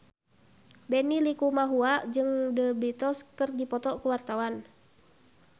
Benny Likumahua jeung The Beatles keur dipoto ku wartawan